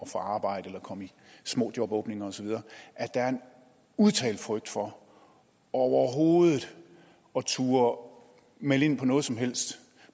få arbejde eller at komme i små jobåbninger osv at der er en udtalt frygt for overhovedet at turde melde ind på noget som helst